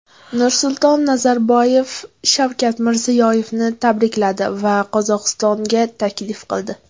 Nursulton Nazarboyev Shavkat Mirziyoyevni tabrikladi va Qozog‘istonga taklif qildi.